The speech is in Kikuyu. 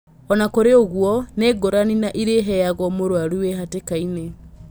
Ona kũrĩ ũguo nĩ ngũrani na irĩ a iheagwo mũrwaru wĩ hatĩ kainĩ .